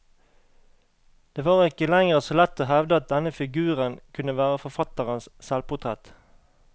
Det var ikke lenger så lett å hevde at denne figuren kunne være forfatterens selvportrett.